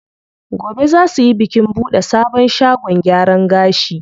Gobe zaa suyi bikin buɗe sabon shagon gyaran gashi.